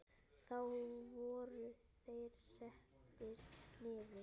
Þá voru þeir settir niður.